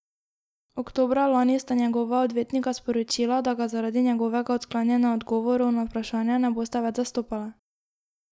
Oktobra lani sta njegova odvetnika sporočila, da ga zaradi njegovega odklanjanja odgovorov na vprašanja ne bosta več zastopala.